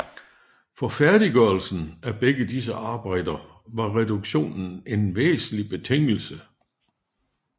For færdiggørelsen af begge disse arbejder var reduktionen en væsentlig betingelse